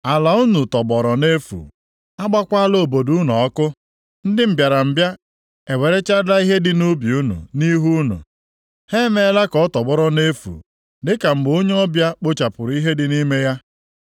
Ala unu tọgbọrọ nʼefu, agbaakwala obodo unu ọkụ. Ndị mbịarambịa ewerechaala ihe dị nʼubi unu nʼihu unu, ha emeela ka ọ tọgbọrọ nʼefu dịka mgbe onye ọbịa kpochapụrụ ihe dị nʼime ya. + 1:7 Amaokwu a na-akọwa ihe mere nʼoge ndị agha Asịrịa busoro ha agha mgbe eze Senakerib na-achị \+xt 2Ez 18:13\+xt*